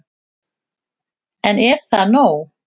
En er það nóg